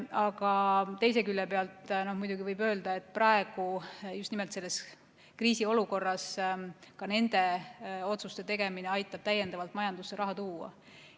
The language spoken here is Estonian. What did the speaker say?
Aga teise külje pealt muidugi võib öelda, et praegu just nimelt selles kriisiolukorras ka nende otsuste tegemine aitab täiendavalt majandusse raha tuua.